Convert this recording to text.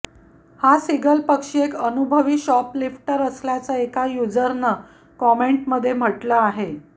हा सीगल पक्षी एक अनुभवी शॉपलिफ्टर असल्याचं एका युझरनं कमेंटमध्ये म्हटलं आहे